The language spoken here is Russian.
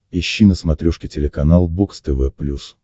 ищи на смотрешке телеканал бокс тв плюс